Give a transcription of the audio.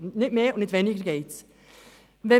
Um nicht mehr und nicht weniger geht es.